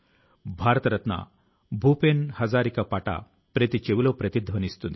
కాలక్రమేణా ఈ చిత్రకళ అంతరించిపోయే పరిస్థితి వచ్చింది